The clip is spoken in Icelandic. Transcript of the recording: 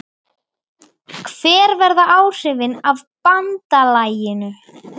Hver verða áhrifin af BANDALAGINU?